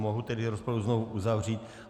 Mohu tedy rozpravu znovu uzavřít.